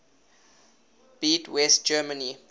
beat west germany